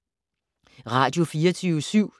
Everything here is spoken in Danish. Radio24syv